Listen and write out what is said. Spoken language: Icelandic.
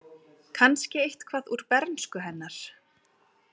Kannski eitthvað úr bernsku hennar.